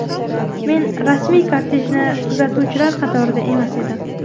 Men rasmiy kortejni kuzatuvchilar qatorida emas edim.